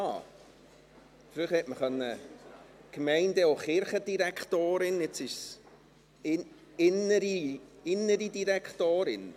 – Früher konnte man Gemeinde- und Kirchendirektorin sagen, jetzt ist es Innere Direktorin.